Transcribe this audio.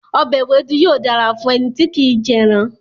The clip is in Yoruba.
Ọbẹ̀ ewédú yóò dára fún ẹni tí kì í jẹran.